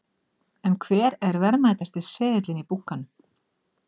En hver er verðmætasti seðillinn í bunkanum?